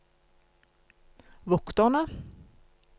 vokterne